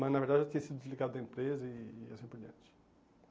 Mas, na verdade, eu tinha sido desligado da empresa e e assim por diante.